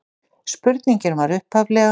Spurningin var upphaflega: